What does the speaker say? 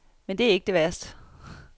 Men det er ikke det værste.